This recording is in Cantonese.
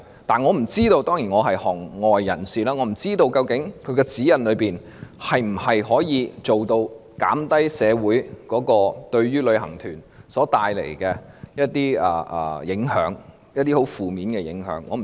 當然，我是一名外行人，不知道指引能否做到減輕旅行團為社會所帶來的影響，特別是一些十分負面的影響。